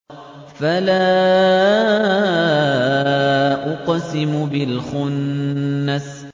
فَلَا أُقْسِمُ بِالْخُنَّسِ